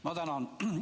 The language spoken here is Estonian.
Ma tänan!